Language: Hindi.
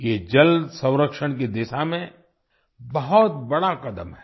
ये जल संरक्षण की दिशा में बहुत बड़ा कदम है